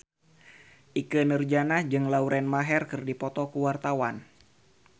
Ikke Nurjanah jeung Lauren Maher keur dipoto ku wartawan